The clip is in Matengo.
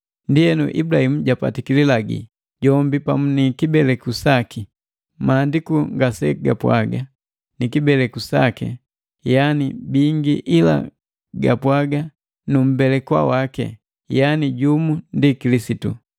Ndienu Ibulahimu japatiki lilagi, jombi pamu ni kibeleku saki. Maandiku ngasegapwaga: “Ni kibeleku saki,” yani bingi, ila gapwaaga “Nu mmbelekwa waki,” yani jumu, ndi Kilisitu.